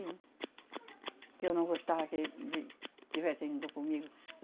Que eu não gostava que ele estivesse junto comigo.